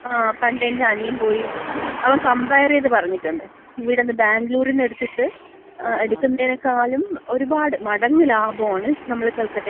ങ്ങാ. പണ്ടെന്‍റ അനിയൻ പോയി, അവൻ കമ്പയർ ചെയ്ത് പറഞ്ഞിട്ടുണ്ട്. ഇവിടുന്ന് ബാംഗ്ലൂരിന്ന് എടുത്തിട്ട്, എടുക്കുന്നേനക്കാളും ഒരുപാട് മടങ്ങ് ലാഭാണ് നമ്മള് കൽക്കട്ടയില് പോയി എടുക്കുന്നത്.